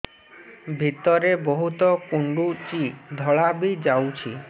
ଭିତରେ ବହୁତ କୁଣ୍ଡୁଚି ଧଳା ବି ଯାଉଛି